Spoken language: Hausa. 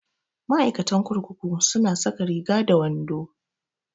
Ma'aikatan kurkuku su na saka Riga da wando